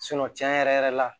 cɛn yɛrɛ yɛrɛ la